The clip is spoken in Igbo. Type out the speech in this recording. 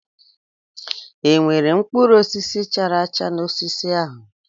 E nwere mkpụrụ osisi chara acha n'osisi ahụ?